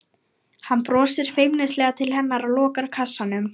Hann brosir feimnislega til hennar og lokar kassanum.